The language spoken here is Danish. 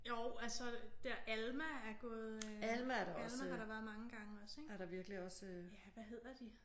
Jo altså der Alma er gået øh Alma har der været mange gange også ik? Ja hvad hedder de?